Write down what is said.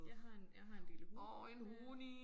Jeg har en jeg har en lille hund øh